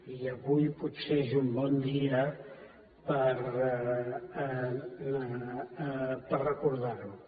i avui potser és un bon dia per recordar ho